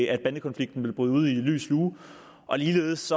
at bandekonflikten ville bryde ud i lys lue ligeledes